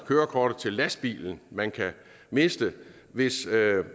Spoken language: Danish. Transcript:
kørekortet til lastbilen man kan miste hvis